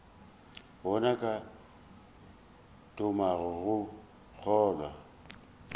gona ke thomago go kgolwa